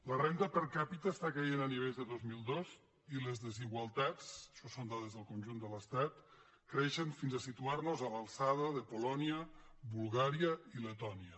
la renda per capita cau a nivells de dos mil dos i les desigualtats això són dades del conjunt de l’estat creixen fins a situar nos a l’alçada de polònia bulgària i letònia